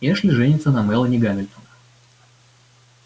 эшли женится на мелани гамильтон